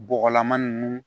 Bɔgɔlama ninnu